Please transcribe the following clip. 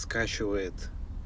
скачивает